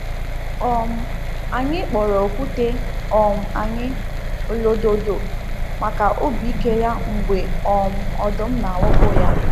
um Anyị kpọrọ okwute um anyị “Olododo” maka obi ike ya mgbe um ọdụm na-awakpo ya.